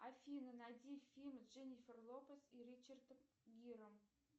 афина найди фильм с дженнифер лопес и ричардом гиром